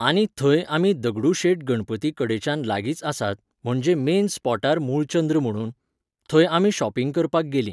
आनी थंय आमी दगडु शेट गणपती कडेच्यान लागींच आसात, म्हणजे मेन स्पॉटार मुळचंद्र म्हणून. थंय आमी शॉपिंग करपाक गेलीं.